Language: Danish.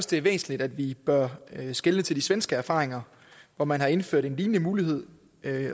det er væsentligt at vi bør skelne til de svenske erfaringer hvor man har indført en lignende mulighed